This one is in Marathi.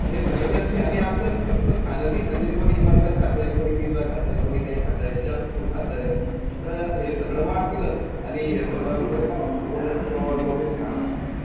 ह्यासगळ्यात जास्ती म्हणजे कोणत्याबी खाण्यात म्हण, कोणी burger खातंय. कोणी pizza खातंय. कोणी काय खातंय. Junk food खातंय. तर ते सगळे वाढतीलंच आणि ह्यासगळ्यामुळे काय होतं cholesterol basically,